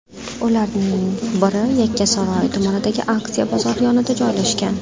Ularning biri Yakkasaroy tumanidagi Askiya bozori yonida joylashgan.